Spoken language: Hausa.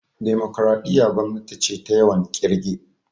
Demokaraɗiya gwamnati ce ta yawan kirge